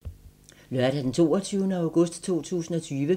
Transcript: Lørdag d. 22. august 2020